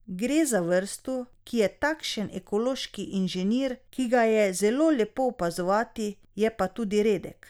Gre za vrsto, ki je takšen ekološki inženir, ki ga je zelo lepo opazovati, je pa tudi redek.